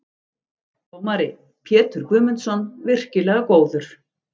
Dómari: Pétur Guðmundsson- virkilega góður.